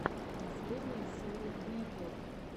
последняя серия блико